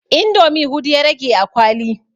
Indomi hudu ya rage a kwali